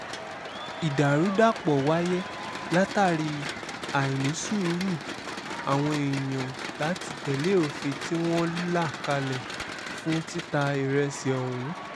ìdàrúdàpọ̀ wáyé látàrí àìnísùúrù àwọn èèyàn láti tẹ̀lé òfin tí wọ́n là kalẹ̀ fún títa ìrẹsì ọ̀hún